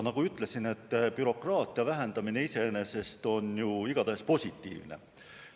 Nagu ma ütlesin, on bürokraatia vähendamine iseenesest ju igatahes positiivne.